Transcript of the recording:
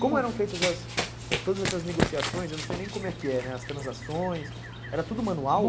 Como eram feitas todas essas negociações, eu não sei nem como é que era, as transações, era tudo manual?